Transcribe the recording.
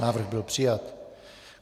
Návrh byl přijat.